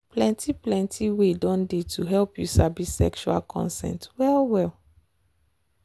plenty plenty way don dey to help you sabi sexual consent well well.